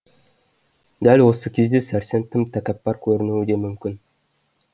дәл осы кезде сәрсен тым тәкәппар көрінуі де мүмкін